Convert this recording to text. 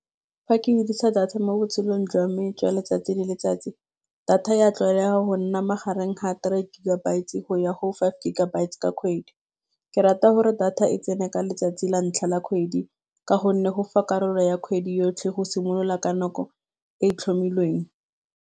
Fa ke dirisa data mo botshelong jwa me jwa letsatsi le letsatsi data ya tlwaela go nna magareng ga three gigabyte go ya go five gigabytes ka kgwedi, ke rata gore data e tsene ka letsatsi la ntlha la kgwedi ka gonne go fa karolo ya kgwedi yotlhe go simolola ka nako e tlhomilweng.